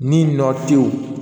Ni nɔ te yen